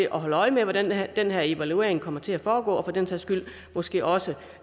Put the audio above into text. at holde øje med hvordan den her evaluering kommer til at foregå og for den sags skyld måske også